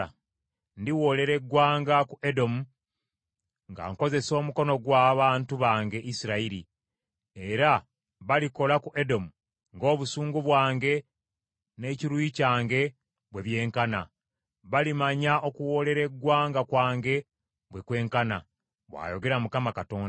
Ndiwoolera eggwanga ku Edomu nga nkozesa omukono gw’abantu bange Isirayiri, era balikola ku Edomu ng’obusungu bwange n’ekiruyi kyange bwe byenkana; balimanya okuwoolera eggwanga kwange bwe kwenkana, bw’ayogera Mukama Katonda.’ ”